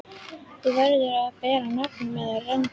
Þú verður að bera nafn með rentu.